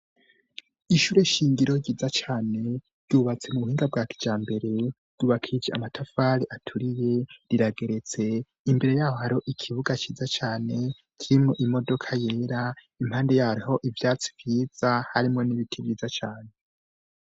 Ishure shingiro ryiza cane ryubatse mu buhinga bwa kiyambere, ryubakishije amatafari aturiye rirageretse, imbere yaho hariho ikibuga ciza cane kirimwo imodoka yera impande hariho ivyatsi vyiza harimwo n'ibiti vyiza cane.